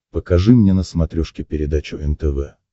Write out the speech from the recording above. покажи мне на смотрешке передачу нтв